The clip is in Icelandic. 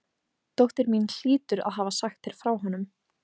Dóttir mín hlýtur að hafa sagt þér frá honum.